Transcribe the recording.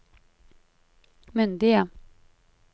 myndige